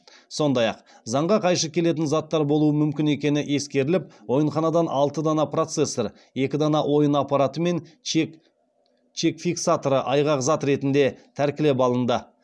сондай ақ заңға қайшы келетін заттар болуы мүмкін екені ескеріліп ойынханадан алты дана процессор екі дана ойын аппараты мен чек фиксаторы айғақ зат ретінде тәркілеп алынды